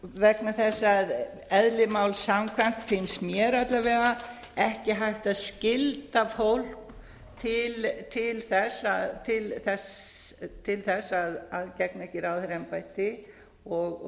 vegna þess að eðli máls samkvæmt finnst mér alla vega ekki hægt að skylda fólk til þess að gegna ekki ráðherraembætti og